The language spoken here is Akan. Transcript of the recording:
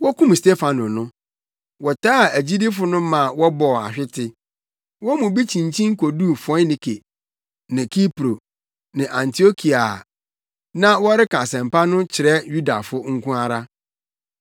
Wokum Stefano no, wɔtaa agyidifo no ma wɔbɔɔ ahwete. Wɔn mu bi kyinkyin koduu Foinike, ne Kipro, ne Antiokia a na wɔreka asɛmpa no kyerɛ Yudafo nko ara.